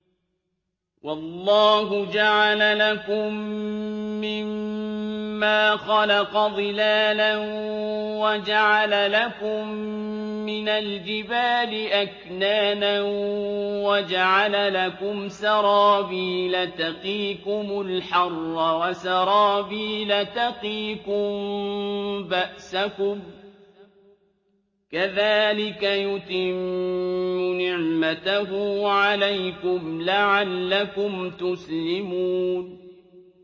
وَاللَّهُ جَعَلَ لَكُم مِّمَّا خَلَقَ ظِلَالًا وَجَعَلَ لَكُم مِّنَ الْجِبَالِ أَكْنَانًا وَجَعَلَ لَكُمْ سَرَابِيلَ تَقِيكُمُ الْحَرَّ وَسَرَابِيلَ تَقِيكُم بَأْسَكُمْ ۚ كَذَٰلِكَ يُتِمُّ نِعْمَتَهُ عَلَيْكُمْ لَعَلَّكُمْ تُسْلِمُونَ